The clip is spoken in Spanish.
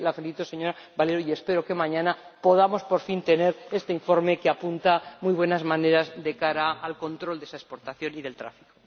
Así que la felicito, señora Valero, y espero que mañana podamos, por fin, tener este informe que apunta muy buenas maneras de cara al control de esa exportación y del tráfico.